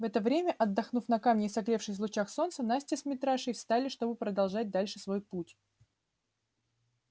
в это время отдохнув на камне и согревшись в лучах солнца настя с митрашей встали чтобы продолжать дальше свой путь